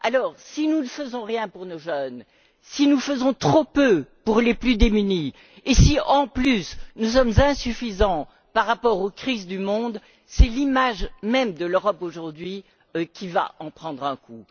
Alors, si nous ne faisons rien pour nos jeunes, si nous faisons trop peu pour les plus démunis et si, en plus, nous n'en faisons pas assez par rapport aux crises du monde, c'est l'image même de l'Europe aujourd'hui qui va en prendre un coup.